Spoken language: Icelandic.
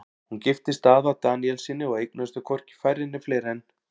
Hún giftist Daða Daníelssyni og eignuðust þau hvorki færri né fleiri en